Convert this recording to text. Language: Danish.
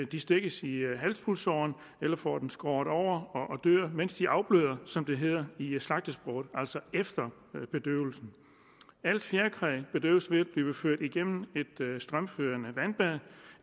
de stikkes i halspulsåren eller får den skåret over og dør mens de afbløder som det hedder i slagtersproget altså efter bedøvelsen alt fjerkræ bedøves ved at blive ført gennem et strømførende vandbad